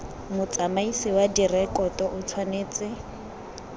motsamaisi wa direkoto o tshwanetse